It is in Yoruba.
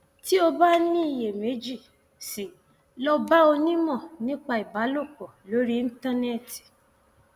tí o bá ní iyèméjì sí i lọ bá onímọ nípa ìbálòpọ lórí íńtánẹẹtì